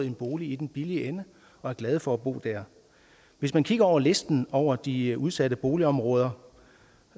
en bolig i den billige ende og er glade for at bo der hvis man kigger ned over listen over de udsatte boligområder